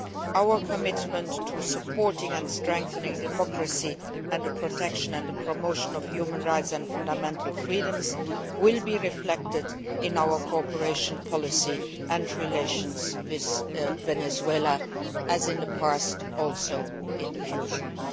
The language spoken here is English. Our commitment to supporting and strengthening democracy and the protection and promotion of human rights and fundamental freedoms will be reflected in our cooperation policy and relations with Venezuela, in the future as in the past.